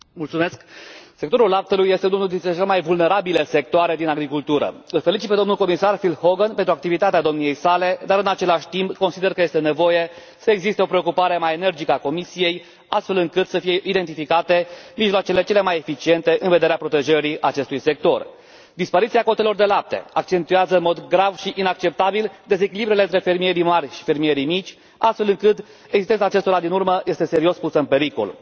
Doamnă președintă, sectorul laptelui este unul dintre cele mai vulnerabile sectoare din agricultură. Îl felicit pe domnul comisar Phil Hogan pentru activitatea domniei sale dar, în același timp, consider că este nevoie să existe o preocupare mai energică din partea Comisiei, astfel încât să fie identificate mijloacele cele mai eficiente în vederea protejării acestui sector. Dispariția cotelor de lapte accentuează în mod grav și inacceptabil dezechilibrele între fermierii mari și fermierii mici, astfel încât existența acestora din urmă este serios pusă în pericol.